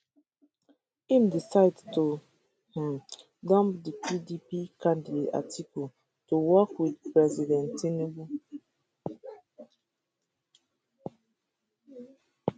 im decide to um dump di pdp candidate atiku to work wit president tinubu